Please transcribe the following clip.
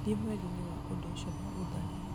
thiĩ mweri-inĩ wa ũndũ ũcio na ũtharie